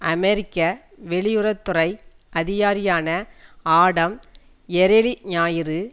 அமெரிக்க வெளியுறவு துறை அதிகாரியான ஆடம் எரேலி ஞாயிறு